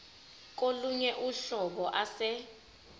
kolunye uhlobo ase